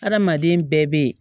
Hadamaden bɛɛ bɛ yen